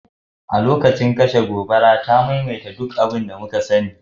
A lokacin kashe gobara, ta maimaita duk abin da muka sani